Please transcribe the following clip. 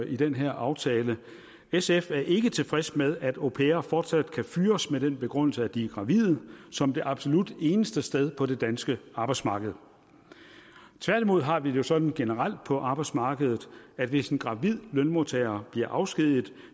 i den her aftale sf er ikke tilfreds med at au pairer fortsat kan fyres med den begrundelse at de er gravide som det absolut eneste sted på det danske arbejdsmarked tværtimod har vi det jo sådan generelt på arbejdsmarkedet at hvis en gravid lønmodtager bliver afskediget